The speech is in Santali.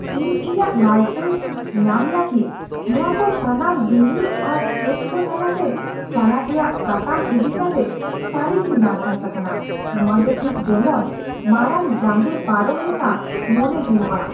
ᱤᱧ ᱤᱧᱟᱹᱜ ᱞᱟᱭᱥᱮᱱᱥ ᱧᱟᱢ ᱞᱟᱹᱜᱤᱫ ᱱᱚᱶᱟ ᱠᱚ ᱥᱟᱱᱟᱢ ᱵᱤᱱᱤᱰ ᱟᱨ ᱪᱮᱠ ᱠᱚ ᱛᱟᱞᱟᱛᱮ ᱪᱟᱞᱟᱜ ᱨᱮᱭᱟᱜ ᱥᱟᱛᱟᱢ ᱤᱫᱤ ᱠᱟᱛᱮ ᱥᱟᱹᱨᱤᱜᱮᱧ ᱱᱟᱨᱵᱷᱟᱥ ᱟᱠᱟᱱᱟ ᱾ ᱱᱚᱶᱟ ᱫᱚ ᱴᱷᱤᱠ ᱡᱮᱢᱚᱱ ᱢᱟᱨᱟᱝ ᱡᱟᱸᱜᱮ ᱯᱟᱨᱚᱢ ᱞᱮᱠᱟ ᱢᱚᱱᱮ ᱦᱩᱭᱩᱜᱼᱟ ᱾